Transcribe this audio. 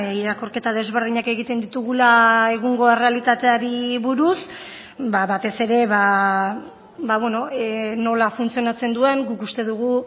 irakurketa desberdinak egiten ditugula egungo errealitateari buruz batez ere nola funtzionatzen duen guk uste dugu